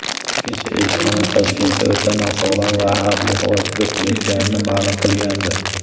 Kecha elchixona Toshkentda o‘ta nosog‘lom va xavfli havo kuzatilayotganini ma’lum qilgandi.